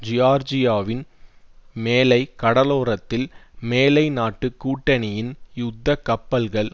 ஜியார்ஜியாவின் மேலை கடலோரத்தில் மேலை நாட்டு கூட்டணியின் யுத்த கப்பல்கள்